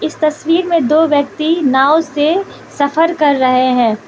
इस तस्वीर में दो व्यक्ति नाव से सफर कर रहे है।